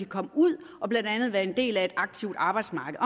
komme ud og blandt andet være en del af et aktivt arbejdsmarked